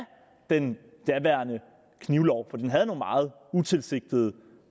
den daværende knivlov for den havde nogle meget utilsigtede